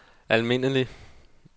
almindelig